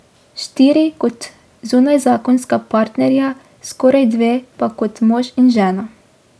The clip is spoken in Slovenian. Štiri kot zunajzakonska partnerja, skoraj dve pa kot mož in žena.